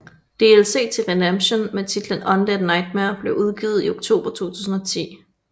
DLC til Redemption med titlen Undead Nightmare blev udgivet i oktober 2010